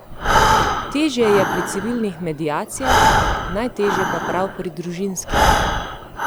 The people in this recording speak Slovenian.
Težje je pri civilnih mediacijah, najtežje pa prav pri družinskih.